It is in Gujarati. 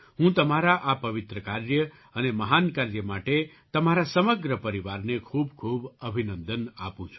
હું તમારા આ પવિત્ર કાર્ય અને મહાન કાર્ય માટે તમારા સમગ્ર પરિવારને ખૂબખૂબ અભિનંદન આપું છું